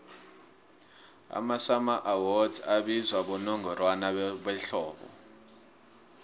amasummer awards abizwa bonongorwana behlobo